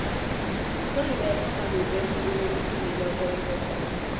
urebeca malope mvumi odumileko wezekolo